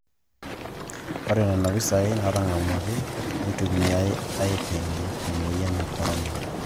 Ore nena pisai naatang'amuaki neitumiyai aiting'e e moyian e Corona